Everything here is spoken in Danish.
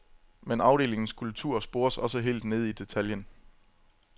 Men afdelingens kultur spores også helt nede i detaljen.